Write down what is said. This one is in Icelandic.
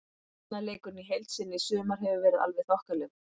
Varnarleikurinn í heild sinni í sumar hefur verið alveg þokkalegur.